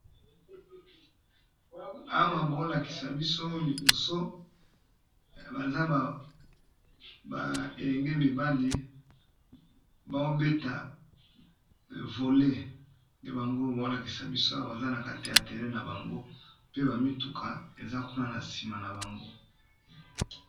Awa bazo lakisabiso elenge mibali bazo beta ndembo ya maboko oyo babengaka namonoko ya lopoto vele boll